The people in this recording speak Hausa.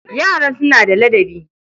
Yaran suna da ladabi.